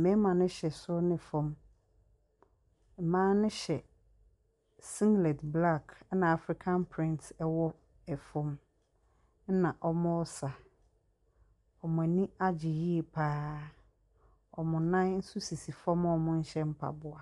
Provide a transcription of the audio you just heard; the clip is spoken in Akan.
Mmarima no hyɛ soro ne fam. Mmaa no hyɛ singlet black, ana African print wɔ fam, ɛna wɔresa. Wɔn ani agye yie pa ara. Wɔn nan nso sisi fam a wɔnhyɛ mpaboa.